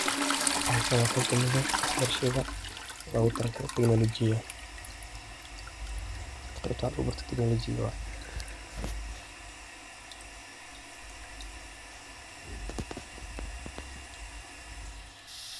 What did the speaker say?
Halkan waa qeb kamid ah wax barashaada loga talagale tiknologiyaada qebka logu talagale tiknologiyaada wate.